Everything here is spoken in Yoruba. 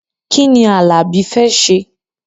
Kí ni Alabi fẹ́ ṣe?